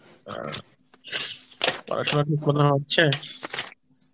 আ পড়াশোনা ঠিকমতো হচ্ছে?